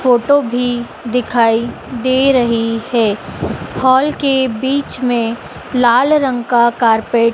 photo भी दिखाई दे रही है हॉल के बीच मे लाल रंग का कार्पेट --